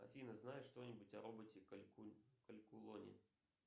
афина знаешь что нибудь о роботе калькулоне